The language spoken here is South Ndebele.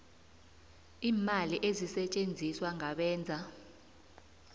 iimali ezisetjenziswa ngabenza